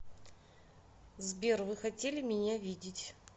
сбер вы хотели меня видеть